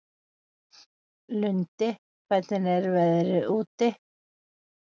Lundi, hvernig er veðrið úti?